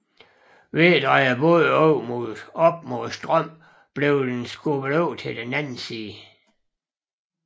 Ved at dreje båden op mod strømmen blev den skubbet over til den anden side